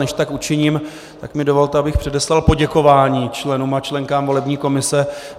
Než tak učiním, tak mi dovolte, abych předeslal poděkování členům a členkám volební komise.